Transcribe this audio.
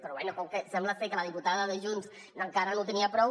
però bé com que sembla que la diputada de junts encara no en tenia prou